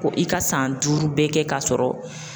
Ko i ka san duuru bɛɛ kɛ k'a sɔrɔ